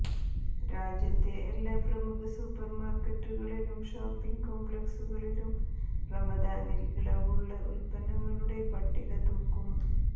രാജ്യത്തെ എല്ലാ പ്രമുഖ സൂപ്പർ മാർക്കറ്റുകളിലും ഷോപ്പിംഗ് കോംപ്ലക്സുകളിലും റമദാനിൽ ഇളവുള്ള ഉൽപന്നങ്ങളുടെ പട്ടിക തൂക്കും